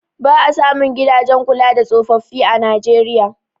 Ba a samun gidajen kula da tsofaffin a Najeriya.